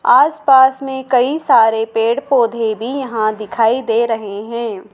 आस पास में कई सारे पेड़ पौधे भी यहां दिखाई दे रहे हैं।